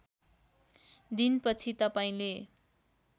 दिन पछि तपाईँले